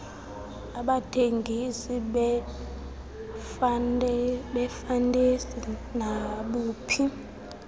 abuthengise ngefantesi nabuphi